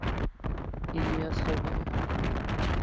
илья соболев